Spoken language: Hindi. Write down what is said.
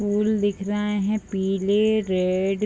फूल दिख रहा है पीले रेड --